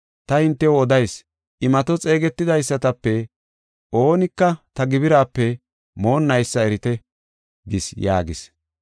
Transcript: Ta hintew odayis; imato xeegetidaysatape oonika ta gibiraape moonnaysa erite’ gis” yaagis.